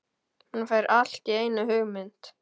Hann fær allt í einu hugmynd.